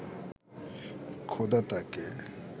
খোদা তাঁকে